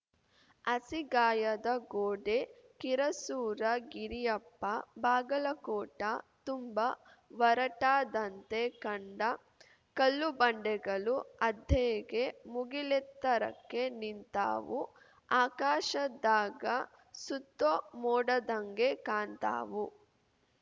ಹಸಿಗಾಯದ ಗೋಡೆ ಕಿರಸೂರ ಗಿರಿಯಪ್ಪ ಬಾಗಲಕೋಟ ತುಂಬಾ ವರಟಾದಂತೆ ಕಂಡ ಕಲ್ಲುಬಂಡೆಗಳು ಅದ್ಹೇಗೆ ಮುಗಿಲೆತ್ತರಕೆ ನಿಂತಾವು ಆಕಾಶ್ದಾಗ ಸುತ್ತೋ ಮೋಡದ್ಹಂಗೆ ಕಾಣ್ತಾವು